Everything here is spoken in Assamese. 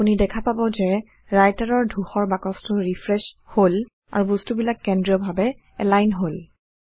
আপুনি দেখা পাব যে Writer ৰ ধূসৰবাকছটো ৰিফ্ৰেশ্ব হল আৰু বস্তু বিলাক কেন্দ্ৰীয় ভাৱে এলাইন হল